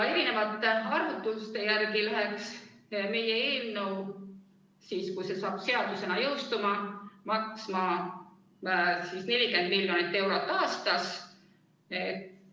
Erinevate arvutuste järgi läheks meie eelnõu siis, kui see seadusena jõustub, maksma 40 miljonit eurot aastas.